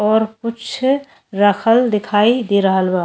और कुछ रखल दिखाई दे रहल बा।